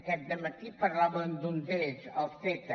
aquest dematí parlàvem d’un d’ells el ceta